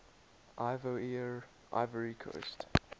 ivoire ivory coast